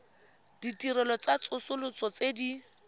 ditirelo tsa tsosoloso tse di